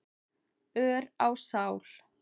ör á sál.